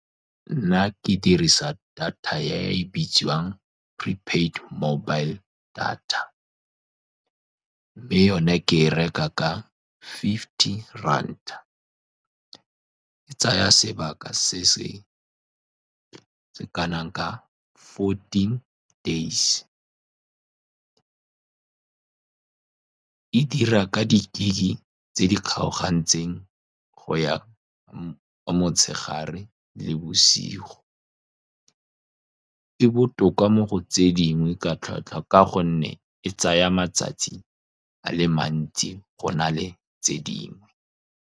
Nna ke dirisa data e e bitswang prepaid mobile data, mme yone ke e reka ka fifty ranta. E tsaya sebaka se se ka nang ka fourteen days, e dira ka di-gig tse di kgaogantsweng go ya motshegare le bosigo. E botoka mo go tse dingwe ka tlhwatlhwa, ka gonne e tsaya matsatsi a le mantsi go na le tse dingwe.